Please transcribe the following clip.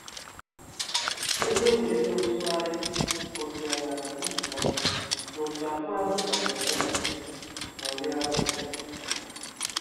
Egwu egwuregwu ntụgharị kwụsịrị na ntụpọ, ma òtù abụọ ahụ jikọtara onwe ya ṅụrịa ọṅụ.